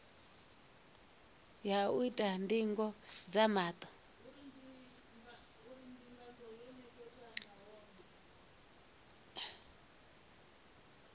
ya u ita ndingo dza maṱo